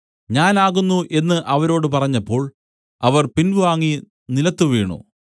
ഞാൻ ആകുന്നു എന്നു അവരോട് പറഞ്ഞപ്പോൾ അവർ പിൻവാങ്ങി നിലത്തുവീണു